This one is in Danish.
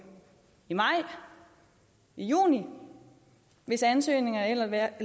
i maj i juni hvis ansøgningerne